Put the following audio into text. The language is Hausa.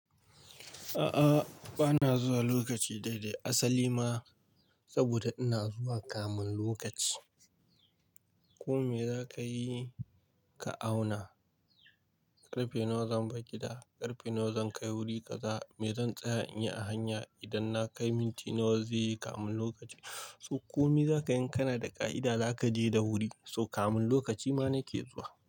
A'a bana zuwa lokaci daidai asali ma saboda ina zuwa kamin lokaci. Ko me za ka yi ka auna, karfe nawa zan bar gida da karfe nawa zan kai wuri kaza me zan tsaya in yi a hanya idan na kai minti nawa zai yi kamin lokaci. So komi za ka inka na da ka'ida za ka je da wuri so kamin lokaci ma na ke zuwa.